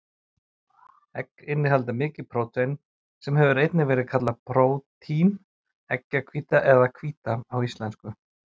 Egg innihalda mikið prótein, sem hefur einnig verið kallað prótín, eggjahvíta eða hvíta á íslensku.